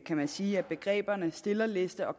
kan man sige at begreberne stillerliste og